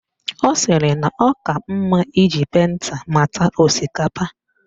Ọ sịrị na ọ ka mma iji penta mata osikapa